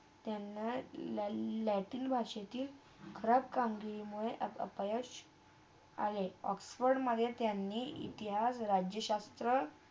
त्यांना ल ~ला ~लॅटिन भाषतील खराब कामगिरी आपा ~अपयश आले ऑक्सफर्डमधे त्यांनी इतिहास, राज्यशास्त्र